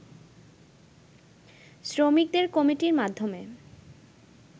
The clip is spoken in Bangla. শ্রমিকদের কমিটির মাধ্যমে